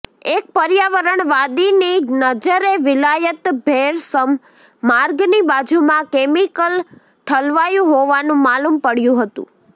એક પર્યાવણ વાદીની નજરે વિલાયત ભેરસમ માર્ગની બાજુમાં કેમીકલ ઠલવાયું હોવાનું માલુમ પડયુ હતુ